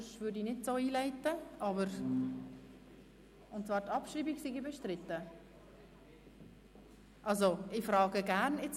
Es handelt sich um eine Motion von Grossrat Klopfenstein.